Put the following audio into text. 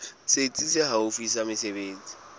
setsi se haufi sa mesebetsi